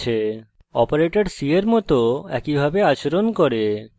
operators c এর মত একই ভাবে আচরণ করে